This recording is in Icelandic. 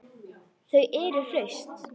Þau eru hraust